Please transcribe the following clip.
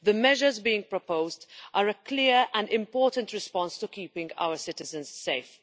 The measures being proposed are a clear and important response in terms of keeping our citizens safe.